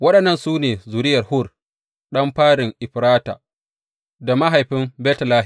Waɗannan su ne zuriyar Hur, ɗan farin Efrata da mahaifin Betlehem.